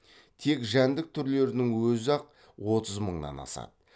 тек жәндік түрлерінің өзі ақ отыз мыңнан асады